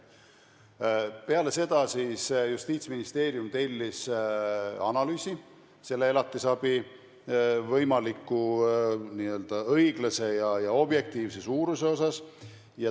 Peale seda tellis Justiitsministeerium analüüsi elatisabi võimaliku õiglase ja objektiivse suuruse kohta.